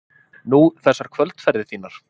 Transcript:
Nú, þessar kvöldferðir þínar.